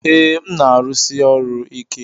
Ee, m na-arụsi ọrụ ike.